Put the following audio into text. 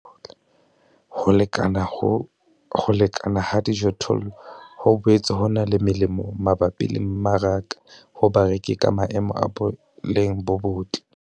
Ho lekana ha dijothollo ho boetse ho na le melemo mabapi le mmaraka ho bareki ka maemo a boleng bo botle.